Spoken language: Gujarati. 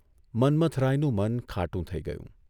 મન્મથરાયનું મન ખાટું થઇ ગયું.